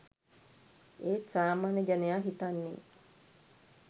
ඒත් සාමාන්‍ය ජනයා හිතන්නේ